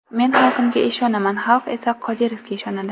Men xalqimga ishonaman, xalq esa Qodirovga ishonadi.